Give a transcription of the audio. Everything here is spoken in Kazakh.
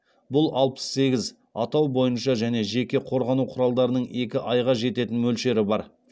бұл алпыс сегіз атау бойынша және жеке қорғану құралдарының екі айға жететін мөлшері бар